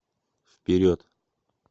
вперед